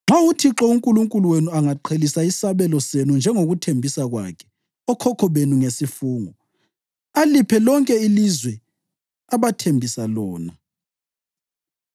Nxa uThixo uNkulunkulu wenu angaqhelisa isabelo senu njengokuthembisa kwakhe okhokho benu ngesifungo, aliphe lonke ilizwe abathembisa lona,